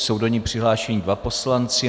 Jsou do ní přihlášeni dva poslanci.